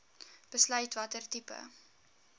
besluit watter tipe